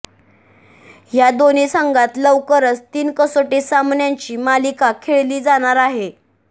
ह्या दोन्ही संघात लवकरच तीन कसोटी सामन्यांची मालिका खेळली जाणार आहे